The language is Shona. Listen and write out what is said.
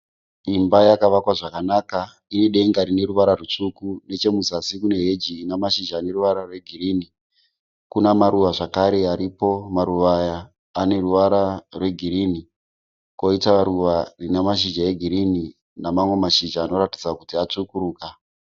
Imba yakavakwa zvakanaka ine denga rine ruvara rutsvuku. Nechemuzasi kune heji ina mashizha ane ruvara rwe girinhi. Kuna maruva zvakare aripo, maruva aya aneruvara rwe girinhi. Koita ruva rina mashizha e girinhi namamwe mashizha anoratidza kuti atsvukuruka.